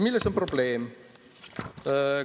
Milles on probleem?